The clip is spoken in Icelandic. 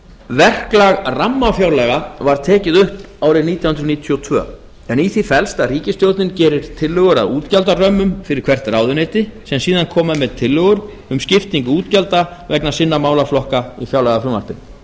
verklag rammafjárlaga var tekið upp árið nítján hundruð níutíu og tvö en í því felst að ríkisstjórnin gerir tillögur að útgjaldarömmum fyrir hvert ráðuneyti sem síðan koma með tillögur um skiptingu útgjalda vegna sinna málaflokka í fjárlagafrumvarpinu